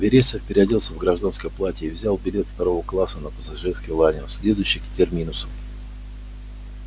вересов переоделся в гражданское платье и взял билет второго класса на пассажирский лайнер следующий к терминусу